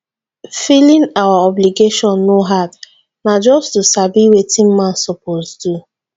filing our obligations no hard na just to sabi wetin man suppose do.